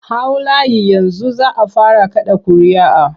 Hau layi yanzu za a fara kaɗa ƙuria'a!